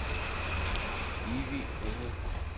Evy Engel